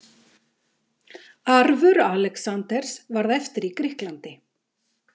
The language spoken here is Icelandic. Arfur Alexanders varð eftir í Grikklandi.